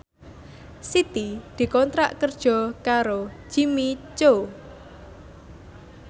Siti dikontrak kerja karo Jimmy Coo